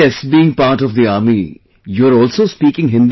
Being part of the army, you are also speaking Hindi well